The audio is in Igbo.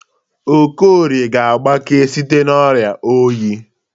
Okorie ga-agbake site n'ọrịa oyi.